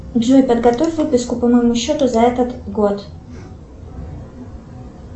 джой подготовь выписку по моему счету за этот год